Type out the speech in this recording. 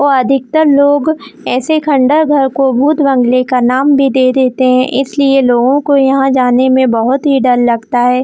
और अधिकतर लोग ऐसे खंडर घर को भूत-बंगले का नाम भी दे देते है इसलिए लोगों को यहाँ जाने में बहोत ही डर लगता है।